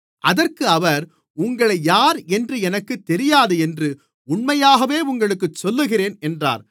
அதற்கு அவர் உங்களை யாரென்று எனக்குத் தெரியாது என்று உண்மையாகவே உங்களுக்குச் சொல்லுகிறேன் என்றார்